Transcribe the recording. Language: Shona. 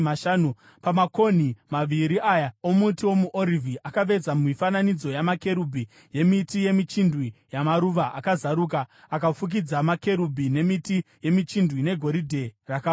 Pamakonhi maviri aya omuti womuorivhi akaveza mifananidzo yamakerubhi, yemiti yemichindwe neyamaruva akazaruka, akafukidza makerubhi nemiti yemichindwe negoridhe rakarohwa.